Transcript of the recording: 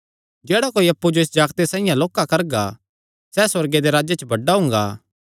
जेह्ड़ा कोई अप्पु जो इस जागते साइआं लोक्का करगा सैह़ सुअर्ग दे राज्जे च बड्डा हुंगा